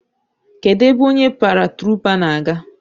Kedụ ebe onye paratruupa na-aga?